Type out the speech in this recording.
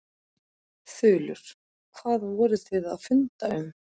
Þulur: Hvað voruð þið að funda um?